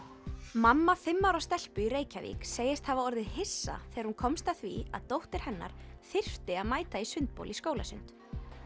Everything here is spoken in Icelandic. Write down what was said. mamma fimm ára stelpu í Reykjavík segist hafa orðið hissa þegar hún komst að því að dóttir hennar þyrfti að mæta í sundbol í skólasund